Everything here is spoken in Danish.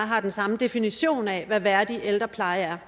har den samme definition af hvad værdig ældrepleje er